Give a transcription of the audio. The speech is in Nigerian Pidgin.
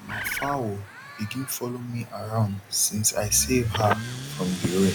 ma fowl begin follow me around since i save her from the rain